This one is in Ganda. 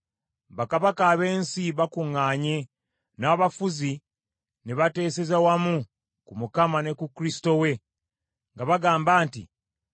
Bakabaka ab’ensi bakuŋŋaanye, n’abafuzi ne bateeseza wamu ku Mukama ne ku Kristo we, nga bagamba nti,